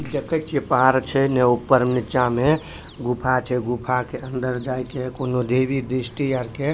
देखे छिये पहाड़ छै ने ऊपर-नीचा में गुफा छै गुफा के अंदर जाय के कुनू देवी दृष्टि आर के --